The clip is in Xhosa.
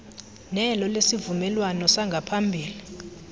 nelo lesivumelwano sangaphambili